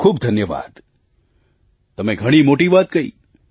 ખૂબખૂબ ધન્યવાદ તમે ઘણી મોટી વાત કહી